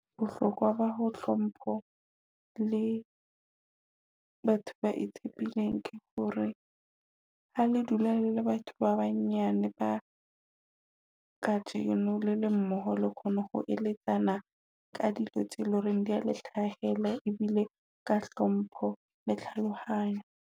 Bohlokwa ba ho hlompho le batho ba e tibileng ke hore ha le dula le batho ba banyane ba kajeno le mmoho le kgone ho eletsana. Ka dilo tse loreng dia le hlahela e bile ka hlompho le tlhalohanyo.